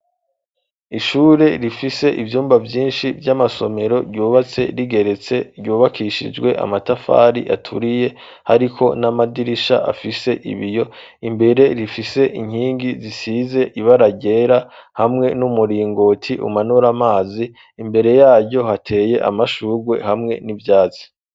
Ishure, rifise ivyumba vyinshi, vy'amasomero, ryubatse rigeretse, ryubakishijwe amatafari aturiye, hariko n'amadirisha, afise ibiyo; imbere rifise inkingi, zisize ibara ryera, hamwe n'umuringoti, umanura amazi; imbere yaryo, hateye amashurwe, hamwe n'ivyatsi.